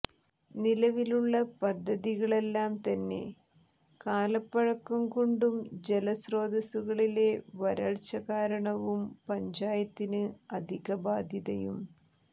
നിലവിലുള്ള പദ്ധതികളെല്ലാം തന്നെ കാലപ്പഴക്കം കൊണ്ടും ജല സ്രോതസ്സുകളിലെ വരള്ച്ചകാരണവും പഞ്ചായത്തിന് അധിക ബാധ്യതയും